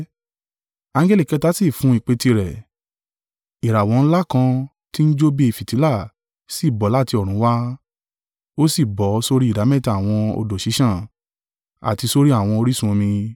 Angẹli kẹta sì fún ìpè tirẹ̀, ìràwọ̀ ńlá kan tí ń jó bí fìtílà sì bọ́ láti ọ̀run wá, ó sì bọ́ sórí ìdámẹ́ta àwọn odò ṣíṣàn, àti sórí àwọn orísun omi.